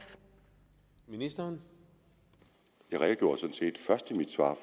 venstre har gjort